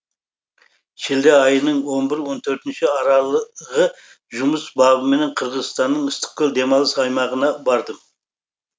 шілде айының он бірі он төртінші аралығы жұмыс бабыменен қырғызстанның ыстықкөл демалыс аймағына бардым